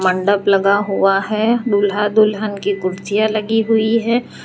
मंडप लगा हुआ है दूल्हा दुल्हन की कुर्सियां लगी हुई है।